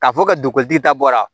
K'a fɔ ka don ko tigi ta bɔra